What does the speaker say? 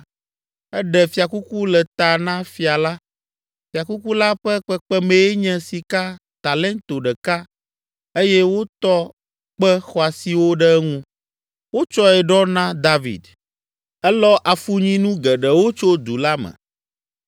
Eɖe fiakuku le ta na Fia la. Fiakuku la ƒe kpekpemee nye sika talento ɖeka eye wotɔ kpe xɔasiwo ɖe eŋu. Wotsɔe ɖɔ na David. Elɔ afunyinu geɖewo tso du la me.